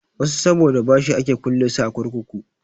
Wasu saboda bashi ake kulle su a kurkuku.